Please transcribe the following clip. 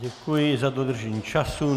Děkuji za dodržení času.